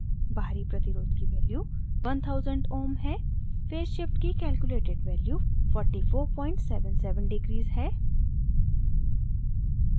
बाहरी प्रतिरोध की value 1000 ohm है फेज़ shift की calculated value 4477 degrees है